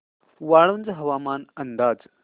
वाळूंज हवामान अंदाज